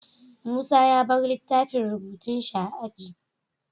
Musa ya bar littafin rubutun shi a aji